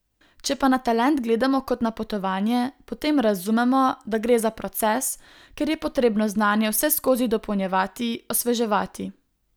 Če pa na talent gledamo kot na potovanje, potem razumemo, da gre za proces, kjer je potrebno znanje vseskozi dopolnjevati, osveževati.